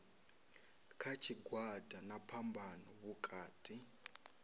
kha tshigwada na phambano vhukati